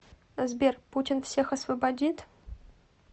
сбер путин всех освободит